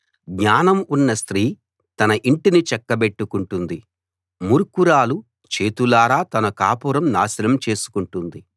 జ్ఞానం ఉన్న స్త్రీ తన ఇంటిని చక్కబెట్టుకుంటుంది మూర్ఖురాలు చేతులారా తన కాపురం నాశనం చేసుకుంటుంది